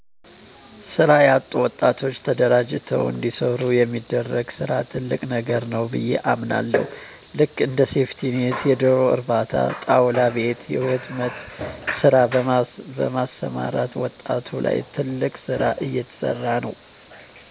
ስራ ያጡ ወጣቶችን ተደራጅተዉ እንዲሰሩ የሚደረግ ስራ ትልቅ ነገር ነዉ ብየ አምናለሁ ልክ እንደ ሴፍቲኔት የደሮ እርባታ ጣዉላ ቤት የህትመት ስራ በማሰማራት ዉጣቱ ላይ ትልቅ ስራ እየተሰራ ነዉ